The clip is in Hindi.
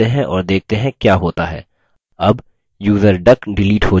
अब यूज़र duck डिलीट हो चुका है